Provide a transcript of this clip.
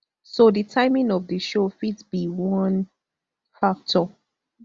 so di timing of di show fit be one factor